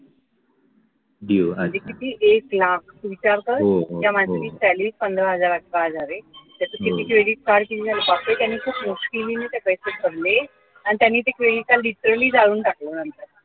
म्हणजे किती एक लाख तू विचार कर त्या माणसाची salary पंधरा हजार की अठरा हजार आहे त्यात त्यांचं credit card किती झालं बापरे त्यांनी खूप मुश्किलीने ते पैसे भरले आणि त्यांनी ते credit card literally जाळून टाकलं नंतर